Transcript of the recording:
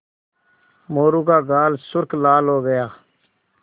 मोरू का गाल सुर्ख लाल हो गया